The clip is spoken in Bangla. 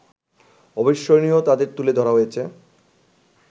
অবিস্মরণীয় তাঁদের তুলে ধরা হয়েছে